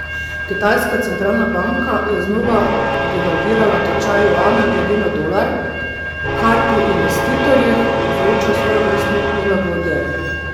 Kitajska centralna banka je znova devalvirala tečaj juana glede na dolar, kar pri investitorjih povzroča svojevrstno nelagodje.